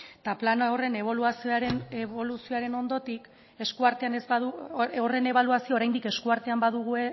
eta plan horren ebaluazioa oraindik eskuartean